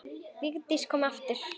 Vigdís kom aftur.